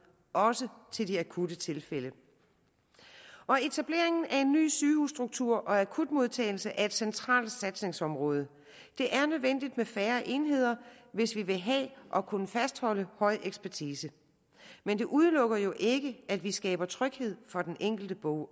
også til de akutte tilfælde etableringen af en ny sygehusstruktur og akutmodtagelse er et centralt satsningsområde det er nødvendigt med færre enheder hvis vi vil have og kunne fastholde en høj ekspertise men det udelukker jo ikke at vi skaber tryghed for den enkelte borger